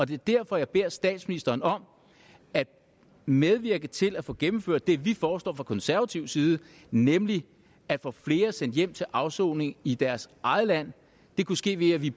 det er derfor jeg beder statsministeren om at medvirke til at få gennemført det vi foreslår fra konservativ side nemlig at få flere sendt hjem til afsoning i deres eget land det kunne ske ved at vi